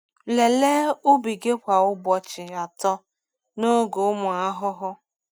Lelee ubi gị kwa ụbọchị atọ n’oge ụmụ ahụhụ.